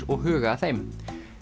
og huga að þeim